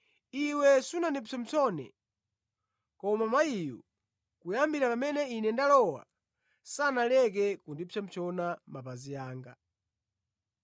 Iwe sunandipsompsone, koma mayiyu, kuyambira pamene Ine ndalowa, sanaleke kupsompsona mapazi anga.